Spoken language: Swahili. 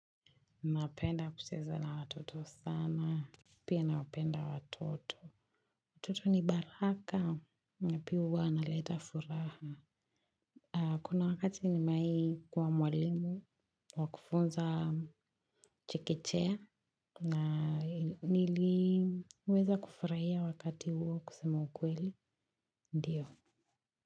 Napenda kucheza na watoto sana. Pia nawapenda watoto. Watoto ni baraka na pia wanaleta furaha. Kuna wakati nimewahi kuwa mwalimu wa kufunza chekechea. Na niliweza kufurahia wakati huo kusema ukweli ndiyo.